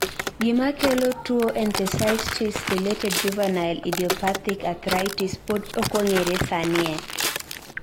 gimakelo tuwo enthesitis related juvenile idiopathic arthritis pod okong'ere sani